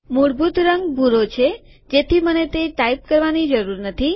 મૂળભૂત રંગ ભૂરો છે જેથી મને તે ટાઈપ કરવાની જરૂર નથી